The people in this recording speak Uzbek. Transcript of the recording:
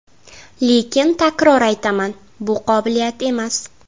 Lekin takror aytaman, bu qobiliyat emas.